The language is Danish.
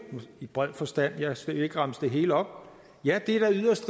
i bred forstand jeg skal ikke remse det hele op ja det er da yderst